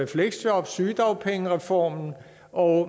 fleksjob og sygedagpengereformen og